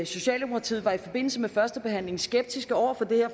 socialdemokratiet var i forbindelse med førstebehandlingen skeptiske over